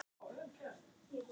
Er það sláandi há tala.